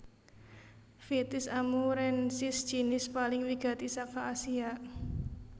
Vitis amurensis jinis paling wigati saka Asia